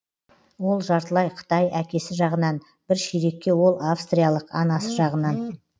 ол жартылай қытай әкесі жағынан бір ширекке ол австриялық анасы жағынан